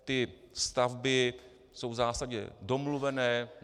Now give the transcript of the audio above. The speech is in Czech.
Ty stavby jsou v zásadě domluvené.